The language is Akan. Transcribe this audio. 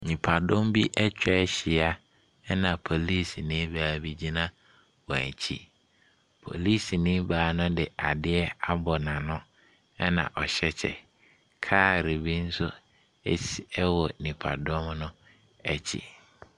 Nnipadɔmbi atwa ahyia, ɛna polisini baa bi gyina wɔn akyi. Polisini paa no de adeɛ abɔ n'ano, ɛna ɔhyɛ kyɛ. Kaa bi nso ɛsi ɛwɔ nipadɔm no akyi.